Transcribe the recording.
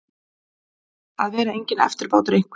Að vera enginn eftirbátur einhvers